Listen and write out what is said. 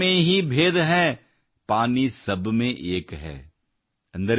ಬರ್ತನ್ ಮೇ ಹೀ ಭೇದ್ ಹೈ ಪಾನೀ ಸಬ್ ಮೇ ಏಕ್ ಹೈ|